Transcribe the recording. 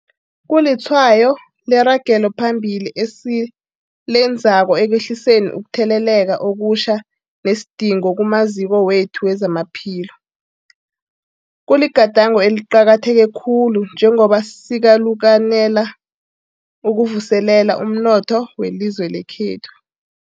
Kulitshwayo leragelo phambili esilenzako ekwehliseni ukutheleleka okutjha nesidingo kumaziko wethu wezamaphilo. Kuligadango eliqakatheke khulu njengombana sikalukanela ukuvuselela umnotho welizwe lekhethu.